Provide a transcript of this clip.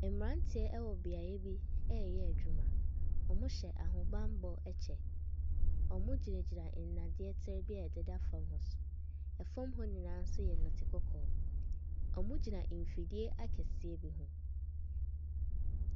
Mmranteɛ ɛwɔ beaeɛ bi ɛɛyɛ adwuma, ɔmo hyɛ ahobanbɔ ɛkyɛ ɔmo gyina gyina nnadeɛ bi a ɛdeda fɔm so. Ɛfɔm hɔ nyinaa nso yɛ nɛte kɔkɔɔ, ɔmo gyina mfidie akɛseɛ mu.